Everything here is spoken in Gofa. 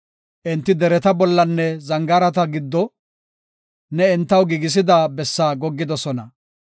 Enti dereta bollanne zangaarata giddo, ne entaw giigisida bessaa goggidosona.